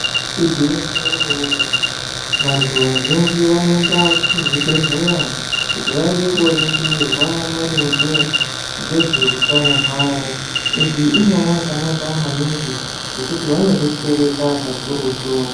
Igwinyiso remene mene vanhu vazhinji vanoenda kuzvibhedhlera kuti vaende kooningirwe maringe nezvehutano hwavo. Iyi inyaya yakanaka maningi ngekuti vanodetserwa kakurutu.